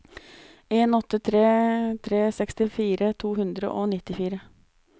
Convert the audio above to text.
en åtte tre tre sekstifire to hundre og nittifire